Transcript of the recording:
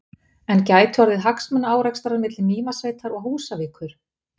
En gætu orðið hagsmunaárekstrar milli Mývatnssveitar og Húsavíkur?